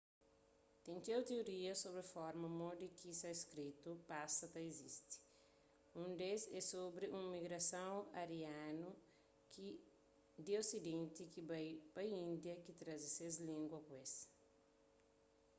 ten txeu tiorias sobri forma modi ki sanskritu pasa ta izisti un des é sobri un migrason arianu di osidenti ki bai pa índia ki traze ses língua ku es